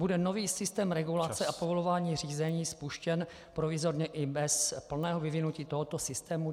Bude nový systém regulace a povolování řízení spuštěn provizorně i bez plného vyvinutí tohoto systému?